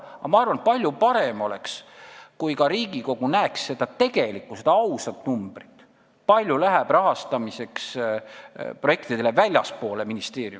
Aga ma arvan, et palju parem oleks, kui ka Riigikogu näeks seda tegelikku, ausat numbrit, kui palju läheb väljapoole ministeeriumit projektide rahastamiseks.